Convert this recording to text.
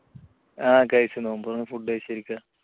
ആ കഴിച്ചു. food നോമ്പ് തുറന്ന് കഴിച്ചിരിക്കുകയാ